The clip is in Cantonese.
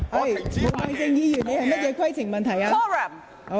毛孟靜議員，你有甚麼規程問題？